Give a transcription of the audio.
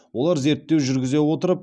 олар зерттеу жүргізе отырып